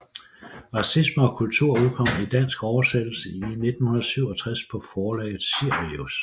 Racisme og kultur udkom i dansk oversættelse i 1967 på forlaget Sirius